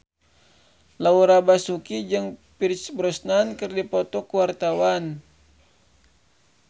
Laura Basuki jeung Pierce Brosnan keur dipoto ku wartawan